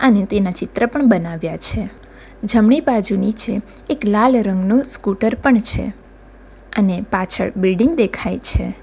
અને તેના ચિત્ર પણ બનાવ્યા છે જમણી બાજુ નીચે એક લાલ રંગનો સ્કૂટર પણ છે અને પાછળ બિલ્ડીંગ દેખાય છે.